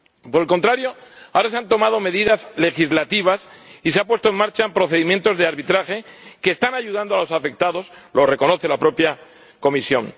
Por el contrario, ahora se han tomado medidas legislativas y se han puesto en marcha procedimientos de arbitraje que están ayudando a los afectados, como reconoce la propia Comisión.